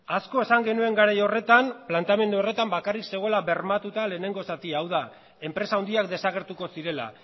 asko esan genuen garai horretan planteamendu horretan bakarrik zegoela bermatuta lehenengo zatia hau da enpresa handiak desagertuko zirela